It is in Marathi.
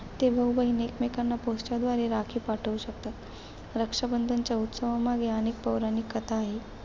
ते भाऊ-बहीण एकमेकांना post द्वारे राखी पाठवू शकतात. रक्षाबंधनाच्या उत्सवामागे अनेक पौराणिक कथा आहेत.